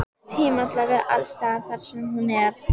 Tíma til að vera alls staðar þar sem hún er.